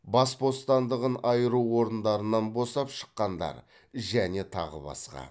бас бостандығын айыру орындарынан босап шыққандар және тағы басқа